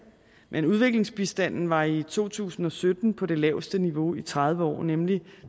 men udviklingsbistanden var i to tusind og sytten på det laveste niveau i tredive år nemlig